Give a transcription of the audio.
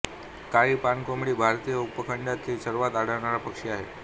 काळी पाणकोंबडी भारतीय उपखंडात सर्वत्र आढळणारा पक्षी आहे